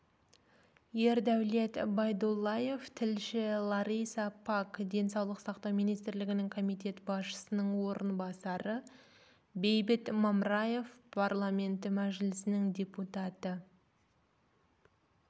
ердәулет байдуллаев тілші лариса пак денсаулық сақтау министрлігінің комитет басшысының орынбасары бейбіт мамраев парламенті мәжілісінің депутаты